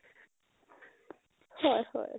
হয় হয়